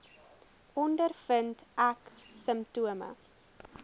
ondervind ek simptome